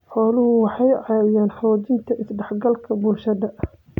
Xooluhu waxay caawiyaan xoojinta is-dhexgalka bulshada.